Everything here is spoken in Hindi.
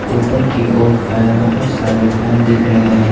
ऊपर की ओर फैन बहोत सारे फैन दिख रहे हैं।